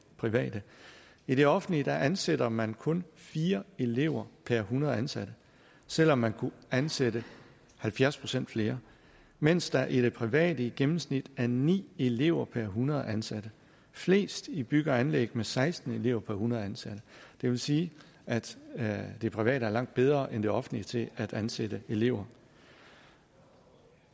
private i det offentlige ansætter man kun fire elever per hundrede ansatte selv om man kunne ansætte halvfjerds procent flere mens der i det private i gennemsnit er ni elever per hundrede ansatte flest i bygge og anlæg med seksten elever per hundrede ansatte det vil sige at sige at det private er langt bedre end det offentlige til at ansætte elever